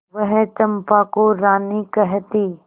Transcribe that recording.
वह चंपा को रानी कहती